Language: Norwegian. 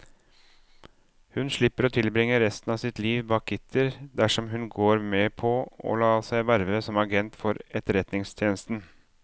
Hun slipper å tilbringe resten av sitt liv bak gitter dersom hun går med på å la seg verve som agent for etterretningstjenesten.